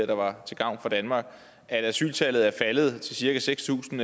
der var til gavn for danmark at asyltallet er faldet til cirka seks tusind